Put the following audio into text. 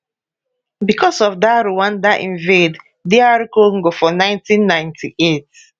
bicos of dat rwanda invade dr congo for 1998